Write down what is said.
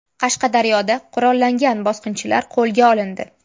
Qashqadaryoda qurollangan bosqinchilar qo‘lga olindi.